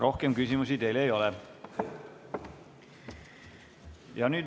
Rohkem küsimusi teile ei ole.